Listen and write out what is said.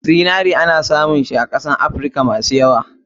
Zinare ana samun sa a kashen afrika masu yawa.